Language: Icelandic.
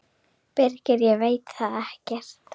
Birgir: Ég veit það ekkert.